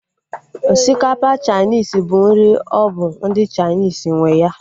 Osikapa Chainis bụ nri ọ bụ ndị Chainis nwe ya